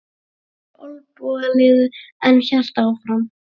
Fór úr olnbogalið en hélt áfram